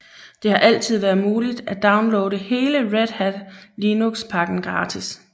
Det har altid været muligt at downloade hele Red Hat Linux pakken gratis